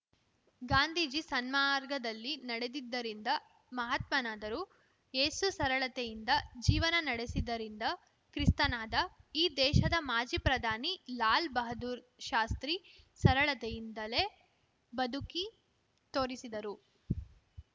ಗಾಂಧೀಜಿ ಸನ್ಮಾರ್ಗದಲ್ಲಿ ನಡೆದಿದ್ದರಿಂದ ಮಹಾತ್ಮನಾದರು ಏಸು ಸರಳತೆಯಿಂದ ಜೀವನ ನಡೆಸಿದ್ದರಿಂದ ಕ್ರಿಸ್ತನಾದ ಈ ದೇಶದ ಮಾಜಿ ಪ್ರಧಾನಿ ಲಾಲ್‌ ಬಹದ್ದೂರ್‌ಶಾಸ್ತ್ರಿ ಸರಳತೆಯಿಂದಲೇ ಬದುಕಿ ತೋರಿಸಿದರು